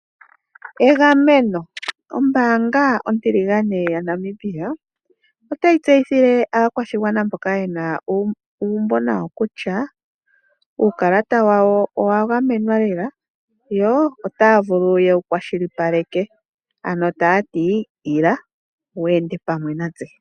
Egameno Ombaanga ontiligane yaNamibia otayi tseyithile aakwashigwana mboka yena uumbo nayo kutya, uukalata wawo owa gamenwa lela, yo otaya vulu yewu kwashilipaleke, ano taya ti: "ila wu ende pamwe natse".